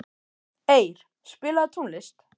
Eir, spilaðu tónlist.